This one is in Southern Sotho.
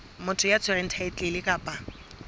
motho ya tshwereng thaetlele kapa